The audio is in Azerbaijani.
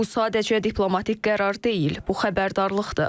Bu sadəcə diplomatik qərar deyil, bu xəbərdarlıqdır.